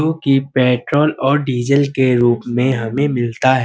जोकि पेट्रोल और डीजल के रूप में हमें मिलता है।